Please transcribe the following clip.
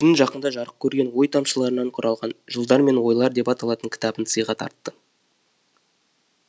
жақында жарық көрген ой тамшыларынан құралған жылдар мен ойлар деп аталатын кітабын сыйға тартты